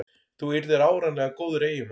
Þú yrðir áreiðanlega góður eiginmaður.